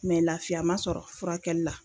laafiya man sɔrɔ furakɛli la.